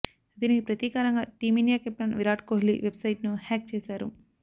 దీనికి ప్రతీకారంగా team India captain Virat Kohli వెబ్సైట్ను హ్యాక్ చేశారు